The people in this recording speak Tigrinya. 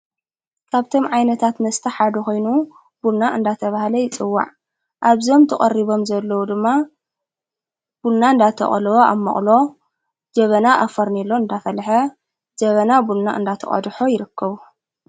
ካብቶም ዓይነታት መስታሕ ሓዱ ኾይኑ ቡና እንዳተ ብሃለ ይጽዋዕ ኣብዞም ተቐሪቦም ዘለዉ ድማ ቡና እንዳተቐለዎ ኣብ ማቕሎ ጀበና ኣፈርኔሎ እንዳፈልሐ ጀበና ቡና እንዳተ ቐድሖ ይርክቡ።